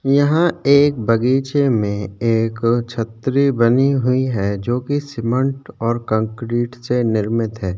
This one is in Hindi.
यहाँ एक बगीचे में एक छतरी बनी हुई है जो की सीमेंट और कंक्रीट से निर्मित है।